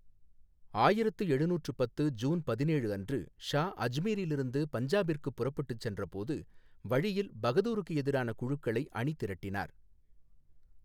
ஆயிரத்து எழுநூற்று பத்து ஜூன் பதினேழு அன்று ஷா அஜ்மீரிலிருந்து பஞ்சாபிற்குப் புறப்பட்டுச் சென்றபோது, வழியில் பகதூருக்கு எதிரான குழுக்களை அணிதிரட்டினார்.